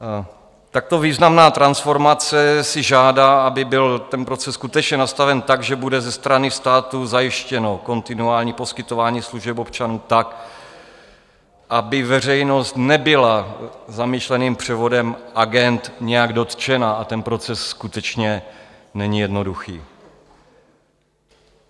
Takto významná transformace si žádá, aby byl ten proces skutečně nastaven tak, že bude ze strany státu zajištěno kontinuální poskytování služeb občanům tak, aby veřejnost nebyla zamýšleným převodem agend nějak dotčena, a ten proces skutečně není jednoduchý.